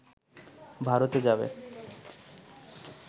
ভারতে যাবে